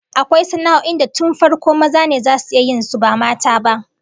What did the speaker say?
Akwai sana'o'in da tun farko maza ne zasu iya yin su, ba mata ba